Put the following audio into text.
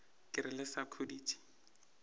ke re le sa khuditše